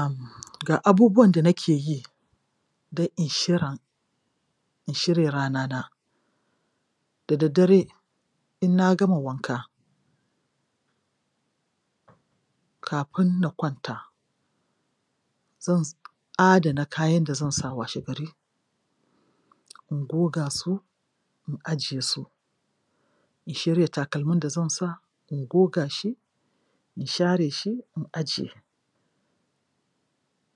um Ga abubuwan da na ke yi don in shirin, in shirya ranana. Da daddare, in na gama wanka kafin na kwanta zan adana kayan da zan sa washegari in goga su, in ajiye su, in shirya takalmin da zan sa, in goga shi, in share shi, in ajiye.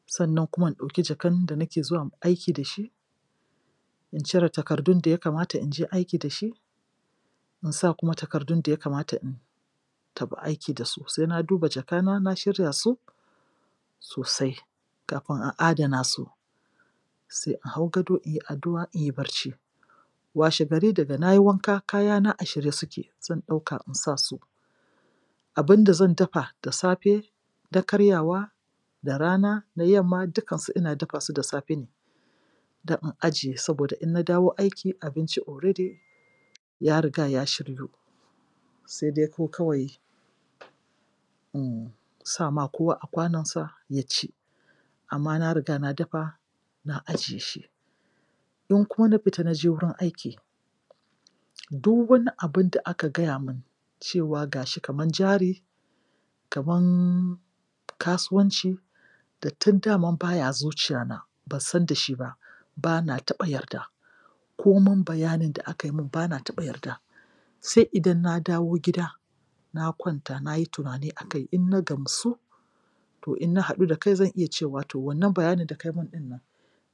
Sannan kuma, in ɗaukin jakan da nake zuwa aiki da shi, in cire takardun da ya kamata in je aiki da shi, in sa kuma takardun da ya kamata in in tafi aiki da su. Sai na duba jakana na shirya su sosai kafin in adana su. Sai in hau gado in yi addu'a in barci. Washegari daga na yi wanka, kayana a shirye suke, zan ɗauka in sa su. Abin da zan dafa da safe na karyawa, da rana da yamma dukkansu ina dafa su da safe ne. don in ajiye saboda in na dawo aiki abinci oredi ya riga ya shiryu, sai dai ko kawai in sa ma kowa a kwanonsa ya ci, amma na riga na dafa na ajiye shi. In kuma na fita na je wurin aiki, du wani abin da aka gaya min cewa ga shi kaman jari, kaman kasuwanci, to tun daman ba ya zuciyana ban san da shi ba, ba na taɓa yarda. komin bayani da aka min ba na taɓa yarda. Sai idan na dawo gida na kwanta na yi tunani a kai. In na gamsu to in na haɗu da kai zan iya cewa wannan bayanin da ka yi min ɗin nan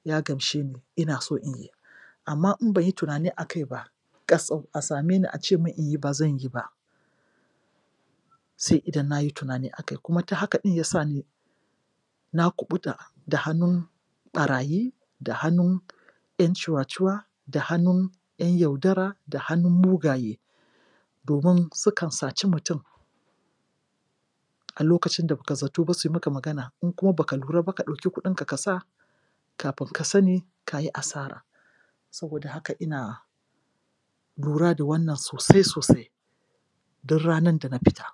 ya gamshe ni, ina so in yi. Amma in ban yi tunani a kai ba gatsau a same ni a ce min in yi, ba zan yi ba. Sai idan na yi tunani a kai, kuma ta haka ɗin ya sa ni na kuɓuta da hannun ɓarayi da hannun ƴan cuwa-cuwa da hannun ƴan yaudara da hannun mugaye. Domin sukan saci mutum a lokacin da ba ka yi zato ba su maka magana. In kuma ba ka lura ba ka ɗauki kuɗinka ka sa kafin ka sani ka yi asara. Saboda haka ina lura da wannan sosai-sosai duk ranar da na fita.